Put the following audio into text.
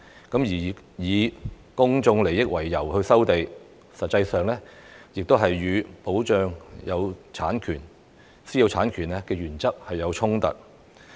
事實上，以公眾利益為由收地，亦與"保障私有產權"原則有衝突。